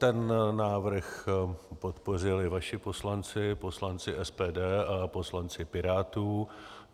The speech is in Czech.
Ten návrh podpořili vaši poslanci, poslanci SPD a poslanci Pirátů.